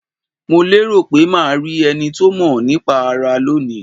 Mo lérò pé ma rí enito mo nípa ara lónìí